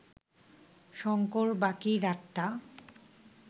শঙ্কর বাকি রাতটা